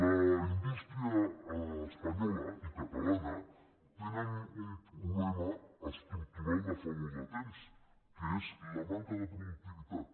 la indústria espanyola i la catalana tenen un problema estructural de fa molt de temps que és la manca de productivitat